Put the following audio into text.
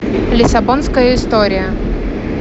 лиссабонская история